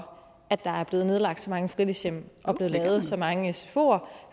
for at der er blevet nedlagt så mange fritidshjem og blevet lavet så mange sfoer